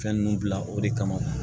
Fɛn ninnu bila o de kama